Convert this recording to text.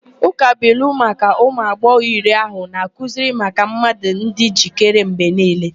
Ụkabụilu maka ụmụ agbọghọ iri ahụ na-akụzi maka mmadụ ịdị njikere mgbe niile.